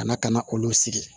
Ka na ka na olu sigi